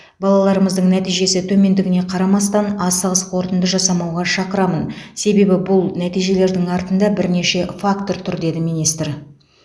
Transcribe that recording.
балаларымыздың нәтижесі төмендігіне қарамастан асығыс қорытынды жасамауға шақырамын себебі бұл нәтижелердің артында бірнеше фактор тұр деді министр